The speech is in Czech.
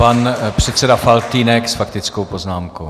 Pan předseda Faltýnek s faktickou poznámkou.